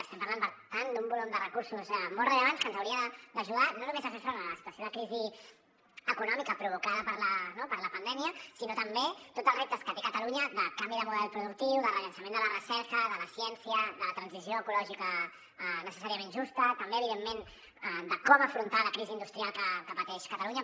estem parlant per tant d’un volum de recursos molt rellevants que ens hauria d’ajudar no només a fer front a la situació de crisi econòmica provocada per la pandèmia sinó també en tots el reptes que té catalunya de canvi de model productiu de rellançament de la recerca de la ciència de la transició ecològica necessàriament justa també evidentment de com afrontar la crisi industrial que pateix catalunya